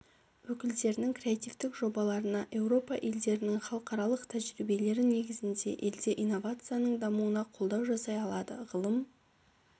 өкілдерінің креативтік жобаларына еуропа елдерінің халықаралық тәжірибелері негізінде елде инновацияның дамуына қолдау жасай алады ғылым